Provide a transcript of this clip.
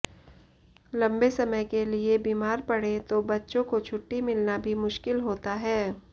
लम्बे समय के लिए बीमार पड़ें तो बच्चों को छुट्टी मिलना भी मुश्किल होता है